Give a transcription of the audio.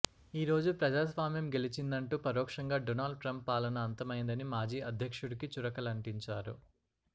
ఈ రోజు ప్రజాస్వామ్యం గెలిచిందంటూ పరోక్షంగా డొనాల్డ్ ట్రంప్ పాలన అంతమైందని మాజీ అధ్యక్షుడికి చురకలంటించారు